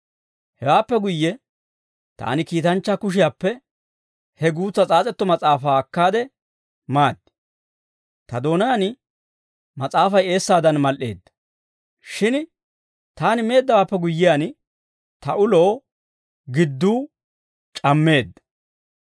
Hewaappe guyye, taani kiitanchchaa kushiyaappe he guutsa s'aas'etto mas'aafaa akkaade maaddi; ta doonaan mas'aafay eessaadan mal"eedda. Shin taani meeddawaappe guyyiyaan, ta ulo gidduu c'ammeedda.